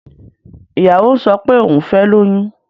Ìyàwó ń sọ pé òhun fẹ́ lóyún.